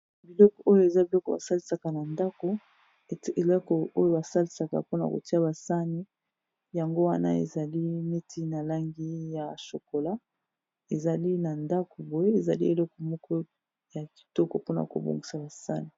Abiloko oyo eza biloko basalisaka na ndako ete eleko oyo basalisaka mpona kotia basani yango wana ezali meti na langi ya shokola ezali na ndako boye ezali eleko moko ya kitoko mpona kobongisa basani